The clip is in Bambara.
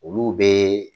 Olu bɛ